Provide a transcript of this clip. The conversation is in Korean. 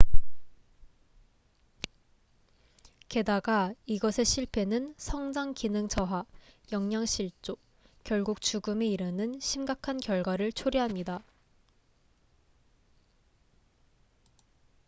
게다가 이것의 실패는 성장 기능 저하 영양실조 결국 죽음에 이르는 심각한 결과를 초래합니다